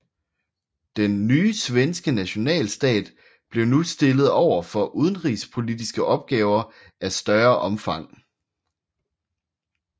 Den nye svenske nationalstat blev nu stillet over for udenrigspolitiske opgaver af større omfang